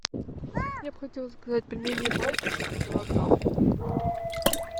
я бы хотела заказать пельмени батюшка килограмм